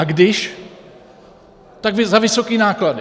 A když, tak za vysoké náklady.